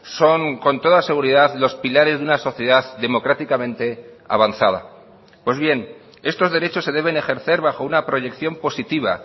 son con toda seguridad los pilares de una sociedad democráticamente avanzada pues bien estos derechos se deben ejercer bajo una proyección positiva